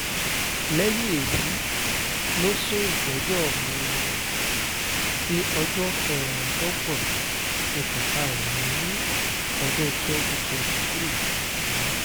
lẹ́yìn èyí ló sún ìgbẹ́jọ́ mi-ín sí ọjọ́ kẹẹ̀ẹ́dọ́gbọ̀n oṣù karùn-ún ọdún 2023 yìí